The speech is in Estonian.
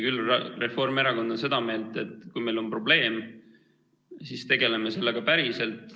Küll on Reformierakond seda meelt, et kui meil on probleem, siis tegeleme sellega päriselt.